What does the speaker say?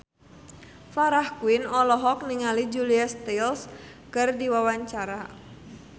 Farah Quinn olohok ningali Julia Stiles keur diwawancara